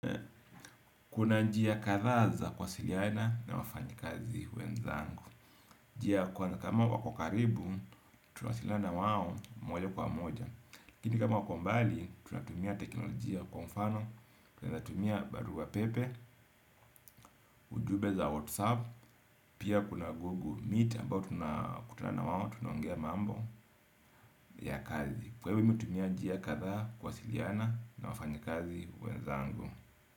Kuna njia kathaa za kuwasiliana na wafanyikazi wenzangu. Njia ya kwanza kama wako karibu, tunawasiliana na wao moja kwa moja laKini kama wako mbali, tunatumia teknolojia kwa mfano. Tunaezatumia barua pepe, ujube za whatsapp. Pia kuna google meet ambao tunakutana na wao, tunaongea mambo ya kazi. Kwa ivo mimi utumia njia kathaa kuwasiliana na wafanyikazi wenzangu.